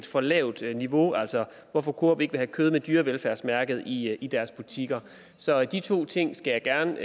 for lavt et niveau og altså hvorfor coop ikke vil have kød med dyrevelfærdsmærket i i deres butikker så de to ting skal jeg gerne